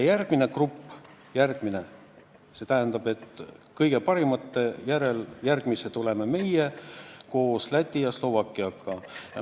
Ja järgmine grupp: kõige paremate järel järgmised oleme meie koos Läti ja Slovakkiaga.